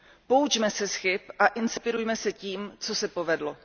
Poučme se z chyb a inspirujme se tím, co se povedlo.